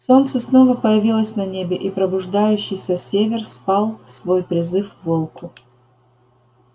солнце снова появилось на небе и пробуждающийся север слал свой призыв волку